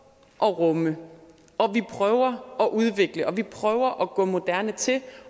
at rumme at vi prøver at udvikle at vi prøver at gå moderne til det